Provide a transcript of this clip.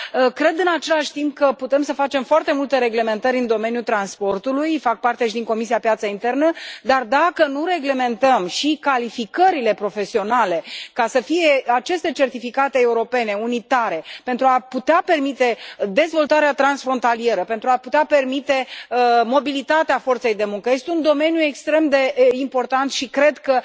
Cred, în același timp, că putem să facem foarte multe reglementări în domeniul transportului, fac parte și din Comisia pentru piața internă, dar dacă nu reglementăm și calificările profesionale ca să fie aceste certificate europene unitare pentru a putea permite dezvoltarea transfrontalieră, pentru a putea permite mobilitatea forței de muncă, este un domeniu extrem de important și cred că